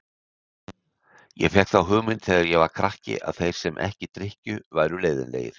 Ég fékk þá hugmynd þegar ég var krakki að þeir sem ekki drykkju væru leiðinlegir.